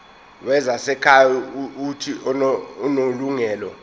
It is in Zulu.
wezasekhaya uuthi unelungelo